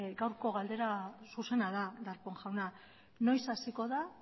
gaurko galdera zuzena da darpón jauna noiz hasiko da